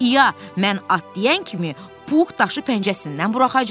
İa, mən at deyən kimi Pux daşı pəncəsindən buraxacaq.